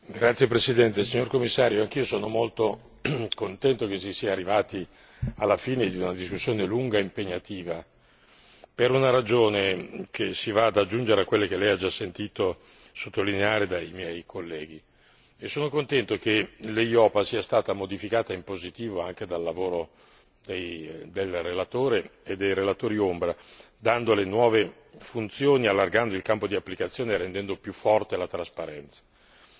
Signor Presidente, signor Commissario, onorevoli colleghi, anch'io sono molto contento che si sia arrivati alla fine di una discussione lunga e impegnativa, per una ragione che si va ad aggiungere a quella che lei ha già sentito sottolineare dai miei colleghi, e sono contento che l'Eiopa sia stata modificata in positivo anche dal lavoro del relatore e dei relatori ombra dandole nuove funzioni, allargando il campo di applicazione, rendendo più forte a trasparenza.